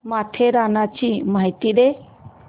माथेरानची माहिती दे